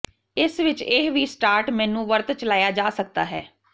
ਇਸ ਵਿਚ ਇਹ ਵੀ ਸਟਾਰਟ ਮੇਨੂ ਵਰਤ ਚਲਾਇਆ ਜਾ ਸਕਦਾ ਹੈ